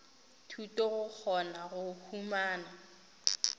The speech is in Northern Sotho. thuto go kgona go humana